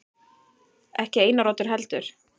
Ekki Einar Oddur heldur.